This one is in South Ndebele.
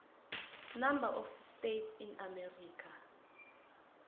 number of states in america